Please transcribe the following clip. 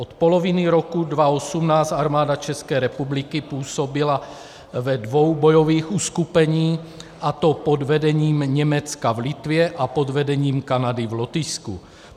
Od poloviny roku 2018 Armáda České republiky působila ve dvou bojových uskupeních, a to pod vedením Německa v Litvě a pod vedením Kanady v Lotyšsku.